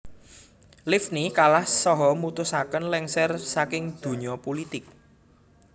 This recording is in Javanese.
Livni kalah saha mutusaken lengser saking donya pulitik